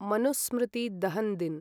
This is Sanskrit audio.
मनुस्मृति दहन् दिन्